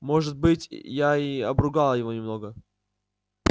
может быть я и обругал его немного